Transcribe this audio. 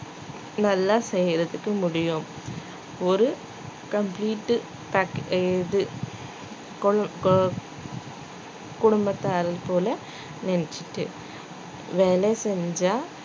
நல்லா செய்யறதுக்கு முடியும் ஒரு complete உ pack இது கு~ கு~ குடும்பத்தாரைப் போல நினைச்சுட்டு வேலை செஞ்சா